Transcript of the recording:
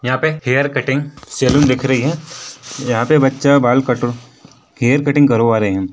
यहाँ पे hair cutting salon दिख रही है यहाँ पे बच्चा बाल कट हेयर कटिंग करवा रहे हैं।